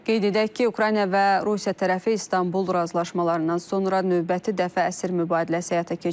Qeyd edək ki, Ukrayna və Rusiya tərəfi İstanbul razılaşmalarından sonra növbəti dəfə əsir mübadiləsi həyata keçiriblər.